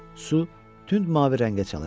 Su tünd mavi rəngə çalırdı.